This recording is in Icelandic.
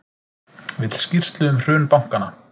Vill skýrslu um hrun bankanna